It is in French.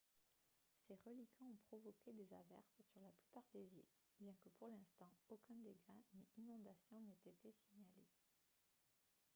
ses reliquats ont provoqué des averses sur la plupart des îles bien que pour l'instant aucun dégât ni inondation n'ait été signalé